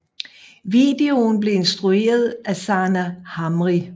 Videoen blev instrueret af Sanaa Hamri